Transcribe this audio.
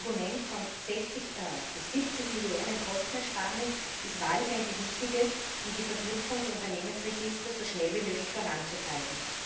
Das Argument von 60 bis 70 Millionen Kostenersparnis ist wahrlich ein gewichtiges, um die Verknüpfung der Unternehmensregister so schnell wie möglich voranzutreiben.